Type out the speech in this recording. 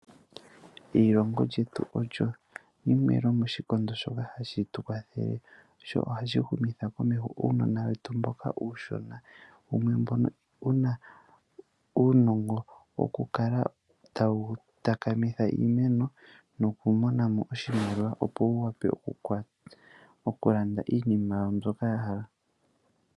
Eilongo lyetu olyo limwe lyomoshikondo shoka hashi tu kwathele sho ohashi humitha komeho uunona wetu mboka uushona. Wumwe mbono wu na uunongo wokukala tawu takamitha iimeno nokumona mo oshimaliwa, opo wu wape okulanda iinima yawo mbyoka ya hala.